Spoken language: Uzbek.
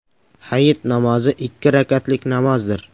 Hayit namozi ikki rakatlik namozdir.